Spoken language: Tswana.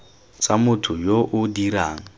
tsa motho yo o dirang